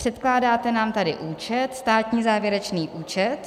Předkládáte nám tady účet - státní závěrečný účet.